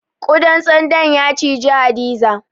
Ƙudan tsando ya ciji Hadiza.